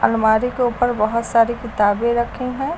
अलमारी के ऊपर बहुत सारी किताबें रखी हैं।